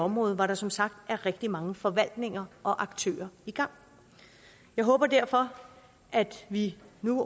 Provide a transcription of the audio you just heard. område hvor der som sagt er rigtig mange forvaltninger og aktører i gang jeg håber derfor at vi